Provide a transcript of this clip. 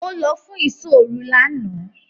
Ó lọ fún “ìsọ́-òru” lánàá.